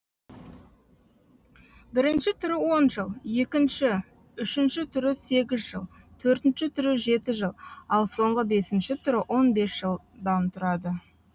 бірінші түрі он жол екінші үшінші түрі сегіз жол төртінші түрі жеті жол ал соңғы бесінші түрі он бес жолдан тұрады